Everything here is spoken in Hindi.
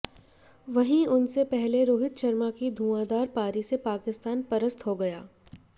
वही उनसे पहले रोहित शर्मा की धुआंधार पारी से पाकिस्तान पस्त हो गया